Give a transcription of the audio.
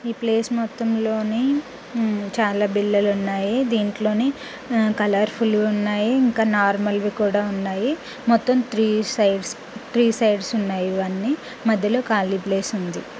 ఈ ప్లేస్ మొత్తమ్ లోని చాల బిళ్ళలు ఉన్నాయి దింట్లోని కలర్ఫుల్ ఉన్నాయి నార్మాల్వి కూడా ఉన్నాయి మొత్తమ్ త్రి సైడ్స్ త్రి సైడ్స్ ఉన్నాయి ఇవన్నీ మధ్య లో కాళీ ప్లేస్ ఉంది.